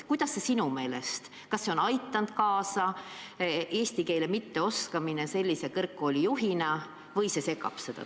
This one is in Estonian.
Kas see, et sellise kõrgkooli juht ei oska eesti keelt, segab kooli tööd?